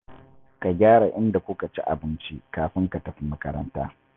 Ka gyara inda kuka ci abinci kafin ka tafi makaranta